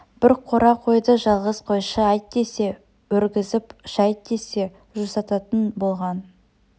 бір қора қойды жалғыз қойшы айт десе өргізіп шайт десе жусататын болған